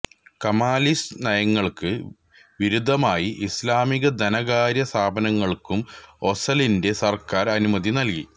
Kemalist നയങ്ങൾക്ക് വിരുദ്ധമായി ഇസ്ലാമികധനകാര്യസ്ഥാപനങ്ങൾക്കും ഓസലിന്റെ സർക്കാർ അനുമതി നൽകി